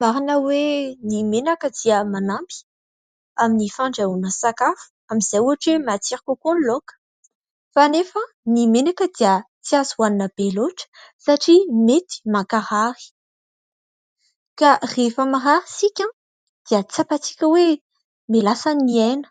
Marina hoe ny menaka dia manampy amin'ny fandrahoana sakafo amin'izay ohatra hoe matsiro kokoa ny laoka. Fa nefa ny menaka dia tsy azo hoanina be loatra satria mety mankarary. Ka rehefa marary isika dia tsapantsika hoe mihalasa ny aina